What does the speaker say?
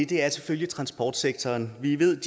det er selvfølgelig transportsektoren vi ved